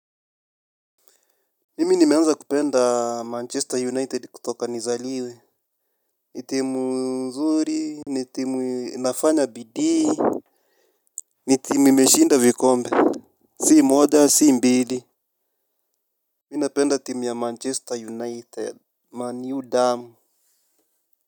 Mimi nimeanza kupenda Manchester United kutoka nizaliwe. Nitimu nzuri. Nitimu inafanya bidii. Nitimu imeshinda vikombe. Si moja si mbili. Mi napenda timu ya Manchester United Man u damu.